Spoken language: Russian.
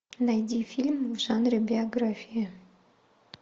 найди фильм в жанре биография